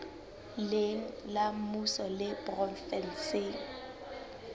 leng la mmuso le provenseng